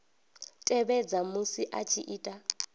tevhedza musi a tshi ita